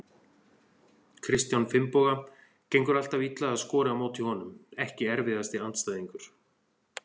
Kristján Finnboga, gengur alltaf illa að skora á móti honum Ekki erfiðasti andstæðingur?